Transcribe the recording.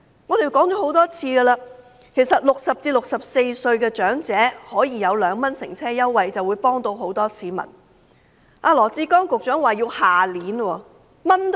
我們已多次指出，若60歲至64歲的長者可享有2元乘車優惠，便能幫助到很多市民，羅致光局長卻說要待至明年，真的等到"蚊瞓"。